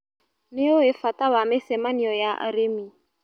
Nĩũĩ bata wa mĩcemanio ya arĩmi.